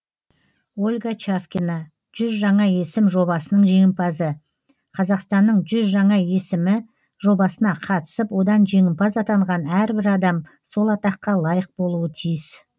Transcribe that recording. ольга чавкина жүз жаңа есім жобасының жеңімпазы қазақстанның жүз жаңа есімі жобасына қатысып одан жеңімпаз атанған әрбір адам сол атаққа лайық болуы тиіс